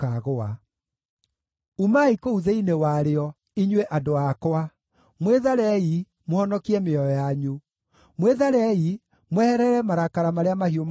“Umai kũu thĩinĩ warĩo, inyuĩ andũ akwa! Mwĩtharei, mũhonokie mĩoyo yanyu! Mwĩtharei, mweherere marakara marĩa mahiũ ma Jehova.